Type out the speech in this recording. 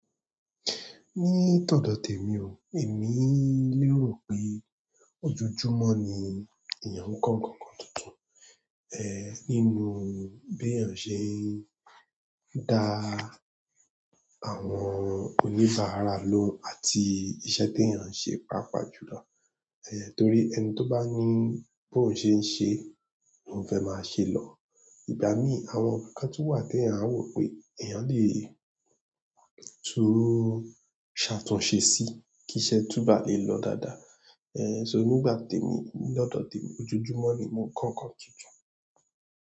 Ní ìọ́dọ̀ tèmi o, èmi lérò pé ojoojúmọ́ ni èèyàn ń kọ ńkan tuntun, nínú bí èèyàn ṣe ń da àwọn oníbàárà lóun àti iṣẹ́ tí èèyàn ṣe pàápàá jùlọ. Torí ẹni tó bá ní bóun ṣe ń ṣe lóun fẹ́ máa ṣe lọ. Ìgbà mí àwọn ńkan tun wà tí èèyàn á wò pé èèyàn lè tún ṣàtúnṣe sí kí iṣẹ́ túbọ̀ lè lọ dáadáa. So nígbà tèmi, ní ọ̀dọ̀ tèmi ojoojúmọ́ ni mò ń kọ ńkan tuntun.